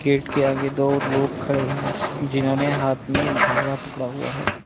Gate के आगे दो लोग खड़े हैं जिन्होंने हाथ में भाला पकड़ा हुआ है।